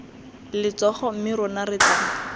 letsogo mme rona re tla